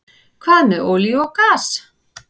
Hvað með olíu og gas?